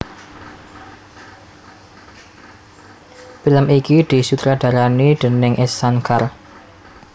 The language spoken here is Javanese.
Film iki disutradarani déning S Shankar